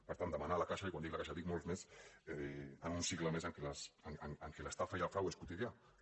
per tant demanar ho a la caixa i quan dic la caixa dic molts més en un cicle a més en què l’estafa i el frau són quotidians